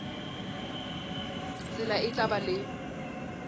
tsela e tla ba le